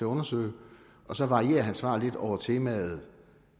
undersøge så varierer han sit svar lidt over temaet